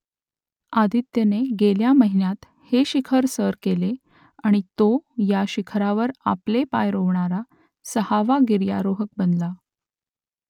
आदित्यने गेल्या महिन्यात हे शिखर सर केले आणि तो या शिखरावर आपले पाय रोवणारा सहावा गिर्यारोहक बनला